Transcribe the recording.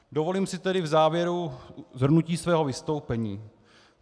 Dovolím si tedy v závěru shrnutí svého vystoupení.